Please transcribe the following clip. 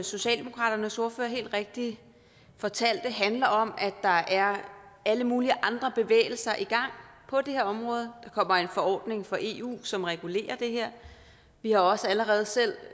socialdemokraternes ordfører helt rigtigt fortalte handler om at der er alle mulige andre bevægelser i gang på det her område der kommer en forordning fra eu som regulerer det her vi har også allerede selv